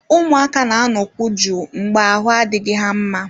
Ụmụaka na-anọkwu jụụ mgbe ahụ adịghị ha mma